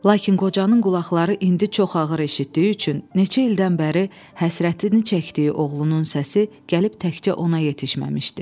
Lakin qocanın qulaqları indi çox ağır eşitdiyi üçün neçə ildən bəri həsrətini çəkdiyi oğlunun səsi gəlib təkcə ona yetişməmişdi.